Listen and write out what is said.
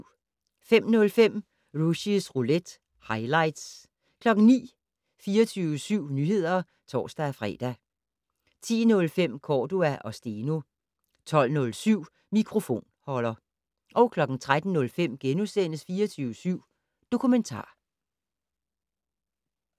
05:05: Rushys roulette - highlights 09:00: 24syv Nyheder (tor-fre) 10:05: Cordua & Steno 12:07: Mikrofonholder 13:05: 24syv Dokumentar *